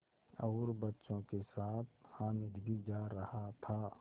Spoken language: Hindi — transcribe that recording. और बच्चों के साथ हामिद भी जा रहा था